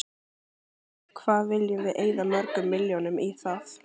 Hvað viljum við eyða mörgum milljónum í það?